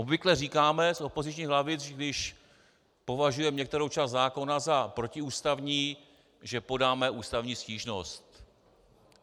Obvykle říkáme z opozičních lavic, když považujeme některou část zákona za protiústavní, že podáme ústavní stížnost.